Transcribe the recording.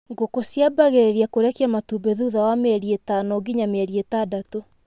Ngũkũ ciambagirĩria kũrekia matumbĩ thutha wa mĩeri ĩtano nginya mĩeri ĩtandatũ.